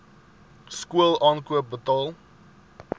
skool aankoop betaal